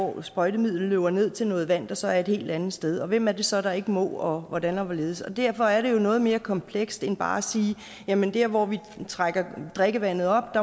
hvor sprøjtemidlet løber ned til noget vand der så er et helt andet sted og hvem er det så der ikke må og hvordan og hvorledes derfor er det jo noget mere komplekst end bare at sige jamen der hvor vi trækker drikkevandet op